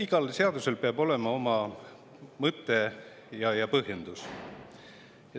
Igal seadusel peab olema oma mõte ja põhjendus.